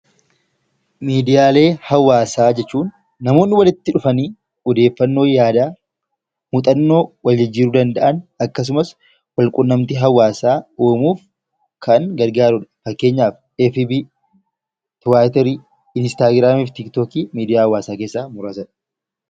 Miidiyaa hawaasaa jechuun namoonni walitti dhufanii odeeffannoo, yaada, muuxannoo waljijjiiruu danda'an, akkasumas walquunnamtii hawaasaa uumuuf kan gargaarudha. Fakkeenyaaf: feesbookii, tiwiiterii, inistagraamii fi tiktookii miidiyaa hawaasaa keessaa muraasadha.